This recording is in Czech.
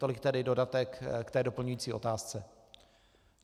Tolik tedy dodatek k té doplňující otázce.